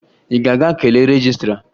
Ị ga-aga kelee rejistra?